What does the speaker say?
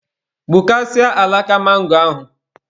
Gbukasịaa alaka mangoro ahụ.